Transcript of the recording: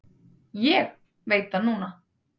Ég veit það núna.